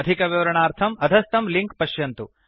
अधिकविवरणार्थम् अधस्थं लिंक् पश्यन्तु